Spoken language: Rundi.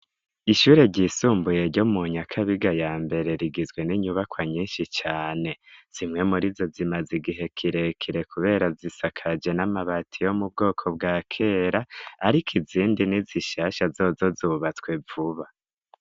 Ishure ryisumbuye ryo mu Nyakabiga ya Mbere rigizwe n'inyubakwa nyinshi cane. Zimwe muri zo zimaze igihe kirekire kubera zisakaje n'amabati yo mu bwoko bwa kera, ariko izindi ni zishasha zozo zubatswe vuba.